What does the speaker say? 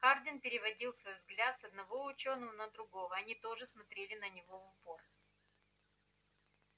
хардин переводил свой взгляд с одного учёного на другого они тоже смотрели на него в упор